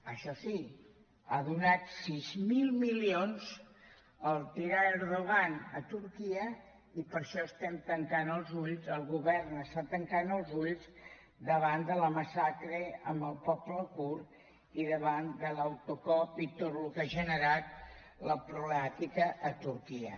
això sí ha donat sis mil milions al tirà erdogan a turquia i per això estem tancant els ulls el govern està tancant els ulls davant de la massacre amb el poble kurd i davant de l’autocop i tot el que ha generat la problemàtica a turquia